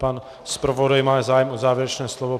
Pan zpravodaj má zájem o závěrečné slovo.